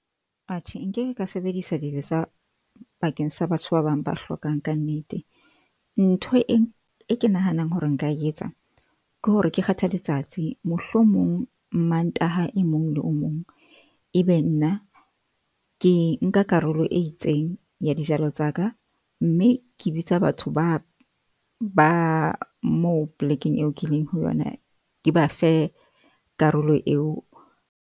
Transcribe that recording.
Atjhe, nkeke ka sebedisa dibetsa bakeng sa batho ba bang, ba hlokang ka nnete. Ntho e ke nahanang hore nka etsa ke hore ke kgethe letsatsi, mohlomong Mantaha e mong le o mong ebe nna ke nka karolo e itseng ya dijalo tsa ka. Mme ke bitsa batho ba ba moo plek-eng eo ke leng ho yona, ke bafe karolo eo.